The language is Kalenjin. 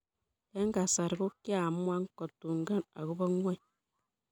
eng kasari ko kiamuan kotungan ako bo ngony.